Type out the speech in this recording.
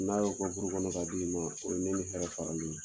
N'a y'o kɛ buru kɔnɔ ka di ma , o ye ne ni hɛrɛ faralen ye.